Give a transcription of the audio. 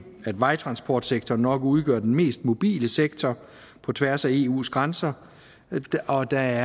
at vejtransportsektoren nok udgør den mest mobile sektor på tværs af eus grænser og der